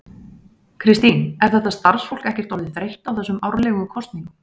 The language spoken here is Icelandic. Kristín, er þetta starfsfólk ekkert orðið þreytt á þessum árlegu kosningum?